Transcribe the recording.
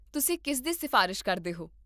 ਤੁਸੀਂ ਕਿਸ ਦੀ ਸਿਫ਼ਾਰਸ਼ ਕਰਦੇ ਹੋ?